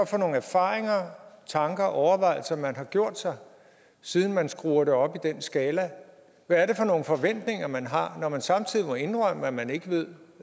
for nogle erfaringer tanker overvejelser man har gjort sig siden man skruer det op i den skala hvad er det for nogle forventninger man har når man samtidig må indrømme at man ikke ved